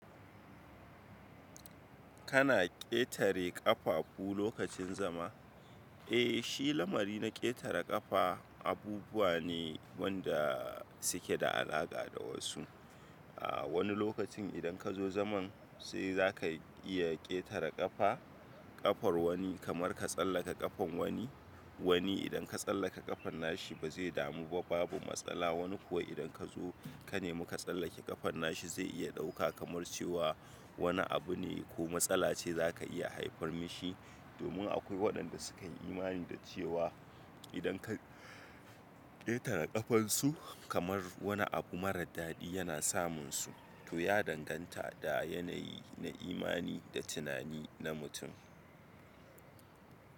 Kana ƙetare ƙafafu lokacin zama? Eh shi lamari na ƙetare ƙafa abubuwa ne wanda suke da alaƙa da wasu. A wani lokacin idan ka zo zaman sai za ka iya ƙetare ƙafa, ƙafar wani kamar ka tsallaka ƙafan wani. Wani idan ka tsallaka ƙafan nashi ba zai damu ba babu matsala, wani kuwa idan ka zo ka nemi ka tsallake ƙafan nashi zai iya ɗauka kamar cewa wani abu ne ko matsala ce za ka iya haifar mishi, domin akwai waɗanda sukayi imani da cewa idan ka ƙetare ƙafansu kamar wani abu mara daɗi yana samunsu, to ya danganta da yanayi na imani da tunani na mutum.